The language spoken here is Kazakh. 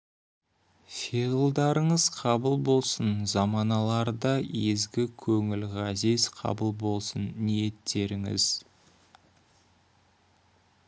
фиғылдарыңыз қабыл болсын заманаларда езгі көңіл ғазиз қабыл болсын ниеттеріңіз